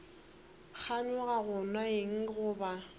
kganyoga go nwa eng goba